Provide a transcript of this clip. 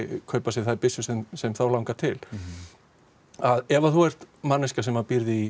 kaupa þær byssur sem þeim langar til ef þú ert manneskja sem býrð í